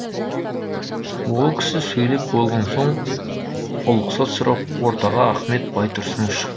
ол кісі сөйлеп болған соң ұлықсат сұрап ортаға ахмет байтұрсынов шықты